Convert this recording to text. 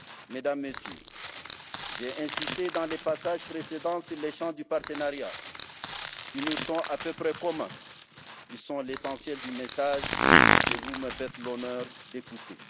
Mesdames, Messieurs, j'ai insisté dans les passages précédents sur les champs du partenariat qui nous sont à peu près communs. Ils sont l'essentiel du message que vous me faites l'honneur d'écouter.